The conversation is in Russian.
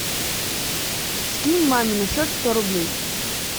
скинь маме на счет сто рублей